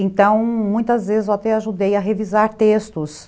Então, muitas vezes eu até ajudei a revisar textos.